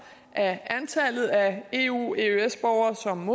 at antallet af eu og eøs borgere som